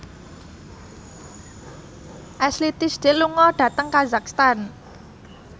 Ashley Tisdale lunga dhateng kazakhstan